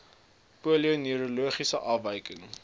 polio neurologiese afwykings